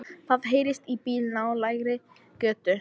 Það heyrist í bíl í nálægri götu.